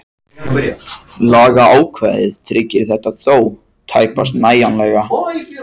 Lagaákvæðið tryggir þetta þó tæpast nægjanlega.